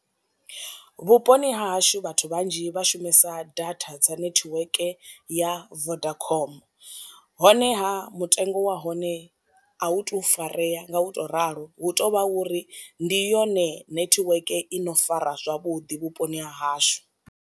Vhuponi ha hashu vhathu vhanzhi vha shumisa data dza netiweke ya vodacom, honeha mutengo wa hone a hu tu farea nga u to ralo hu tou vha uri ndi yone netiweke i no fara zwavhuḓi vhuponi ha hashu.